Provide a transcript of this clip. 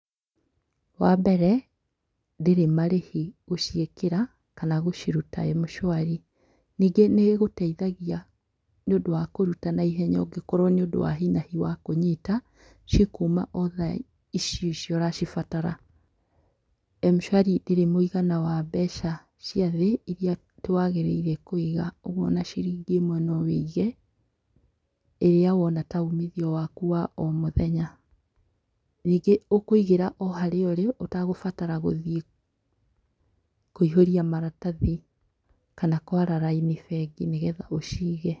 Wambere, ndĩrĩ marĩhi gũciĩkĩra kana gũciruta M-shwari. Ningĩ nĩĩgũteithagia nĩũndũ wa kũruta na ihenya, ũngĩkorwo nĩũndũ wa hinahi wa kũnyita, cikuma o thaa icio icio ũracibatara. M-shwari ndĩrĩ mũigana wa mbeca ciathĩ iria atĩ wagĩrĩire kũiga, ũguo ona ciringi ĩmwe nowĩige ĩrĩa wona ta umithio waku wa o mũthenya. Nyingĩ ũkũigĩra o harĩa ũrĩ ũtagũbatara gũthiĩ kũihũria maratathi kana kwara raini bengi nĩgetha ũcige.